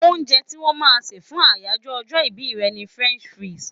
Oúnje tí wón máa se fún àyájó ojó ibí re ni French fries